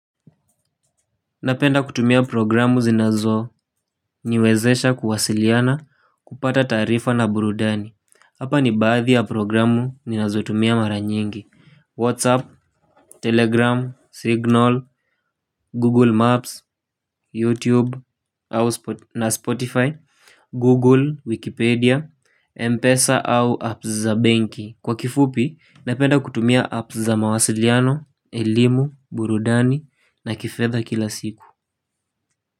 Napenda kutumia programu zinazoniwezesha kuwasiliana kupata taarifa na burudani. Hapa ni baadhi ya programu ninazotumia maranyengi Whatsapp, Telegram, Signal, Google Maps, YouTube na Spotify Google, Wikipedia, Mpesa au apps za benki. Kwa kifupi, napenda kutumia apps za mawasiliano, elimu, burudani na kifedha kila siku.